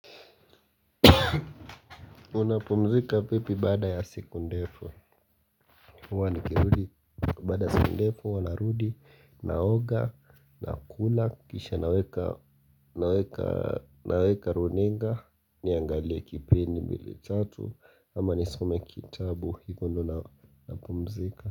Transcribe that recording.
Unapumzika vipi baada ya siku ndefu. Huwa nikirudi baada ya siku ndefu huwa narudi. Naoga, nakula, kisha naweka naweka runinga. Niangalie kipindi mbile tatu ama nisome kitabu hivo ndo napumzika.